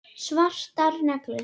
Svartar neglur.